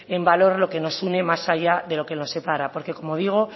en valor lo que nos une más allá de lo que nos separa porque como digo